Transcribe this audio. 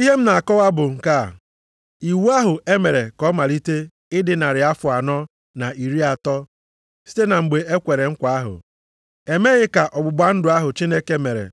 Ihe m na-akọwa bụ nke a: Iwu ahụ e mere ka ọ malite ịdị narị afọ anọ na iri atọ (430) site na mgbe e kwere nkwa ahụ, emeghị ka ọgbụgba ndụ ahụ Chineke mere